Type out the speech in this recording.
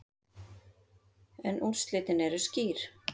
En úrslitin eru skýr.